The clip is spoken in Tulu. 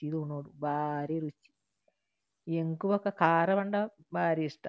ಚಿದ್ ಉನೊಡು ಬಾರಿ ರುಚಿ ಎಂಕ್ ಬೊಕ ಖಾರ ಪಂಡ ಬಾರಿ ಇಷ್ಟ.